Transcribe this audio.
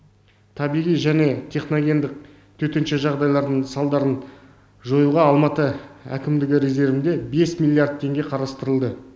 табиғи және техногендік төтенше жағдайлардың салдарын жоюға алматы әкімдігі резервінде бес миллиард теңге қарастырылды